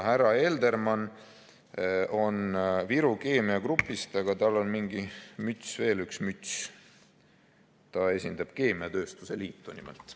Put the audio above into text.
Härra Eldermann on Viru Keemia Grupist, aga tal on mingi müts, veel üks müts – ta esindab keemiatööstuse liitu nimelt.